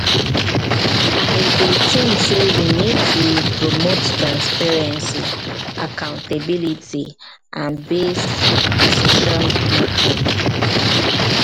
i dey think say we need to need to promote transparency accountability and based decision-making.